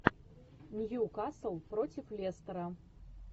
ньюкасл против лестера